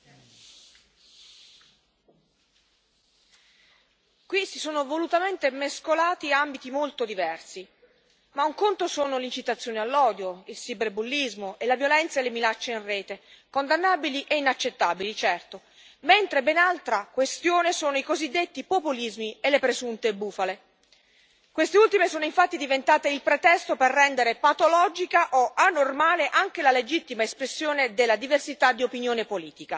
Signor Presidente, onorevoli colleghi, qui si sono volutamente mescolati ambiti molto diversi. Ma un conto sono l'incitazione all'odio, il cyberbullismo, la violenza e le minacce in rete condannabili e inaccettabili, certo mentre ben altra questione sono i cosiddetti populismi e le presunte bufale. Queste ultime sono infatti diventate il pretesto per rendere patologica o anormale anche la legittima espressione della diversità di opinione politica, con il conseguente rischio di una stretta antidemocratica.